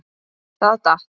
Það datt.